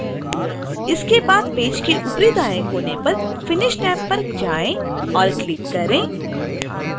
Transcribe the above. इसके बाद पेज के ऊपरी दाएं कोने पर finish टैब पर जाएँ और क्लिक करें